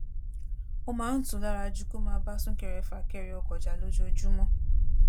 ó máa ń tù ú lára ju kó máa bá súnkẹre fàkẹrẹ ọkọ̀ jà lójoojúmọ́